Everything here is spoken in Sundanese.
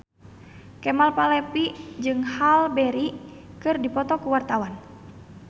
Kemal Palevi jeung Halle Berry keur dipoto ku wartawan